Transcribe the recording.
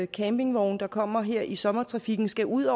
campingvogne der kommer her i sommertrafikken skal ud